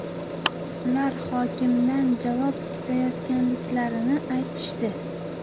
Ular hokimdan javob kutayotganliklarini aytishdi.